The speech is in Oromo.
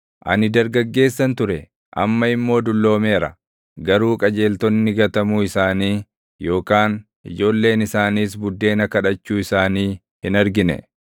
Ani dargaggeessan ture; amma immoo dulloomeera; garuu qajeeltonni gatamuu isaanii yookaan ijoolleen isaaniis buddeena kadhachuu isaanii hin argine.